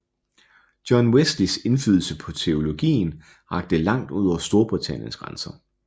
John Wesleys indflydelse på teologien rakte langt ud over Storbritanniens grænser